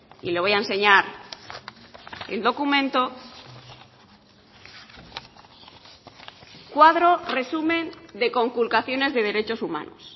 y le voy a enseñar el documento cuadro resumen de conculcaciones de derechos humanos